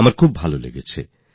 আমার খুব আনন্দ হয়েছিল